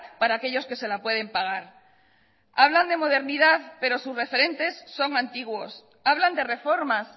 para aquellos que se la pueden pagar hablan de modernidad pero sus referentes son antiguos hablan de reformas